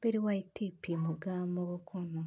bedo wai ti pimo ga mogo kunu.